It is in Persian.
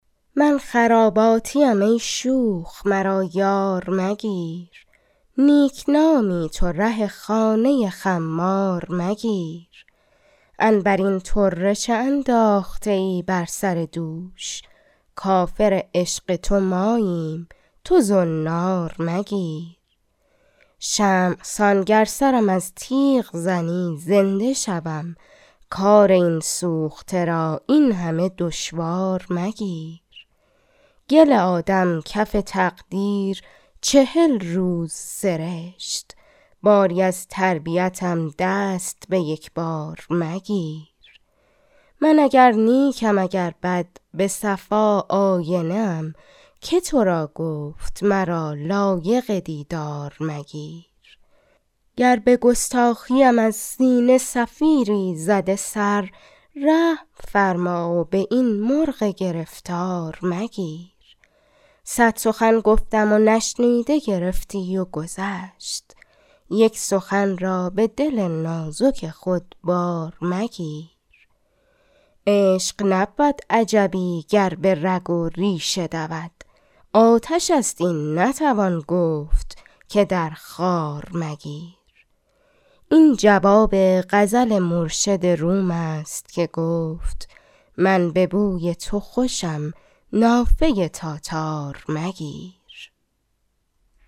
من خراباتیم ای شوخ مرا یار مگیر نیکنامی تو ره خانه خمار مگیر عنبرین طره چه انداخته ای بر سر دوش کافر عشق تو ماییم تو زنار مگیر شمع سان گر سرم از تیغ زنی زنده شوم کار این سوخته را این همه دشوار مگیر گل آدم کف تقدیر چهل روز سرشت باری از تربیتم دست به یکبار مگیر من اگر نیکم اگر بد به صفا آینه ام که تو را گفت مرا لایق دیدار مگیر گر به گستاخیم از سینه صفیری زده سر رحم فرما و به این مرغ گرفتار مگیر صد سخن گفتم و نشنیده گرفتی و گذشت یک سخن را به دل نازک خود بار مگیر عشق نبود عجبی گر به رگ و ریشه دود آتش است این نتوان گفت که در خار مگیر این جواب غزل مرشد روم است که گفت من به بوی تو خوشم نافه تاتار مگیر